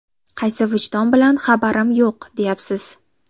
Qaysi vijdon bilan ‘Xabarim yo‘q!’, deyapsiz?”.